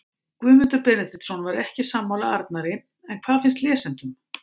Guðmundur Benediktsson var ekki sammála Arnari en hvað finnst lesendum?